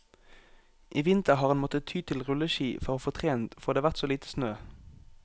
I vinter har han måttet ty til rulleski for å få trent, fordi det har vært så lite snø.